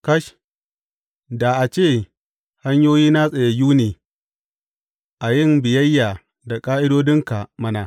Kash, da a ce hanyoyina tsayayyu ne a yin biyayya da ƙa’idodinka mana!